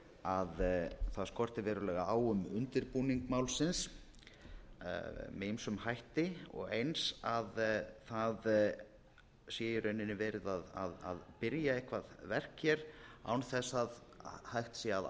að það skorti verulega á um undirbúning málsinsmeð ýmsum hætti og eins að það sé í rauninni verið að byrja eitthvert verk hér án þess að hægt sé að